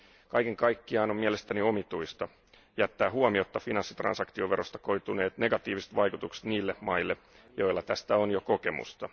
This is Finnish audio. Kaiken kaikkiaan on mielestäni omituista jättää huomiotta finanssitransaktioverosta koituneet negatiiviset vaikutukset niille maille, joilla tästä on jo kokemusta.